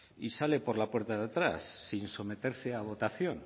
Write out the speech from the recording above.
y sale por la puerta de atrás sin someterse a votación